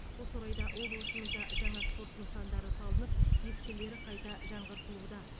осы орайда облысымызда жаңа спорт нысандары салынып ескілері қайта жаңғыртылуда